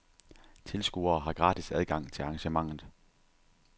Tilskuere har gratis adgang til arrangementet.